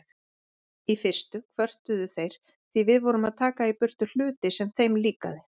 Í fyrstu kvörtuðu þeir því við vorum að taka í burtu hluti sem þeim líkaði.